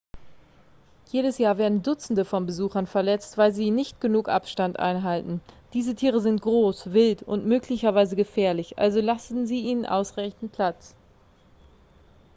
jedes jahr werden dutzende von besuchern verletzt weil sie nicht genug abstand einhalten diese tiere sind groß wild und möglicherweise gefährlich also lassen sie ihnen ausreichend platz